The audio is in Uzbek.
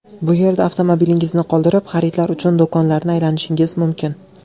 Bu yerda avtomobilingizni qoldirib xaridlar uchun do‘konlarni aylanishingiz mumkin.